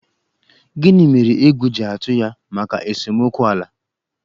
Gini mere egwu ji atụ ya maka esomokwu ala?